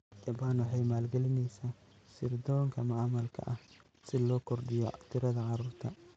Jabaan waxay maalgelinaysaa sirdoonka macmalka ah si loo kordhiyo tirada carruurta.